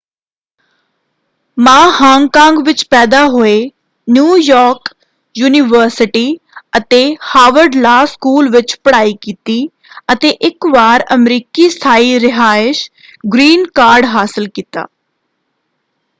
ਮਾ ਹਾਂਗ-ਕਾਂਗ ਵਿੱਚ ਪੈਦਾ ਹੋਏ ਨਿਊ-ਯਾਰਕ ਯੂਨੀਵਰਸਿਟੀ ਅਤੇ ਹਾਵਰਡ ਲਾਅ ਸਕੂਲ ਵਿੱਚ ਪੜ੍ਹਾਈ ਕੀਤੀ ਅਤੇ ਇੱਕ ਵਾਰ ਅਮਰੀਕੀ ਸਥਾਈ ਰਿਹਾਇਸ਼ ਗ੍ਰੀਨ ਕਾਰਡ” ਹਾਸਲ ਕੀਤਾ।